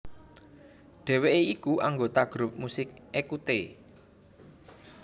Dheweké iku anggota grup musik Ecoutez